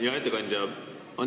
Hea ettekandja!